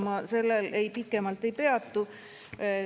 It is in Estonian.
Ma sellel pikemalt ei peatu.